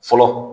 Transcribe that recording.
Fɔlɔ